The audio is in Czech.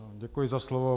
Děkuji za slovo.